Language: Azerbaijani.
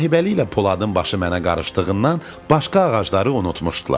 Sahibəli ilə Poladın başı mənə qarışdığından başqa ağacları unutmuşdular.